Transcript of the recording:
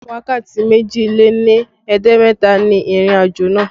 Wákàtí méjì lé ní ẹ̀ẹ́dẹ́gbẹ̀ta ni ìrìnàjò náà